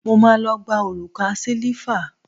Mo má lọ gba òrùka sílíífà.